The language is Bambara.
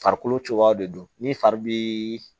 Farikolo cogoyaw de don ni fari bɛ